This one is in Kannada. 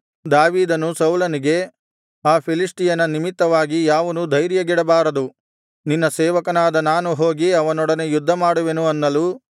ದಾವೀದನು ಸೌಲನಿಗೆ ಆ ಫಿಲಿಷ್ಟಿಯನ ನಿಮಿತ್ತವಾಗಿ ಯಾವನೂ ಧೈರ್ಯಗೆಡಬಾರದು ನಿನ್ನ ಸೇವಕನಾದ ನಾನು ಹೋಗಿ ಅವನೊಡನೆ ಯುದ್ಧಮಾಡುವೆನು ಅನ್ನಲು